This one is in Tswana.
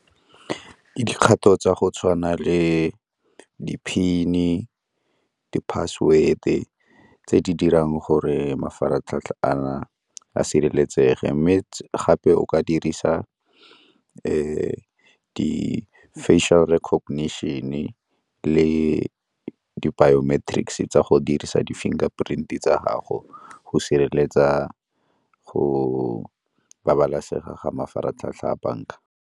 Ke dikgato tsa go tshwana le di-PIN-e, di-password-e tse di dirang gore mafaratlhatlha a a sireletsege mme gape o ka dirisa di-facial recognition-e le di-biometrics tsa go dirisa di-finger print tsa gago go sireletsa, go babalesega ga mafaratlhatlha a banka.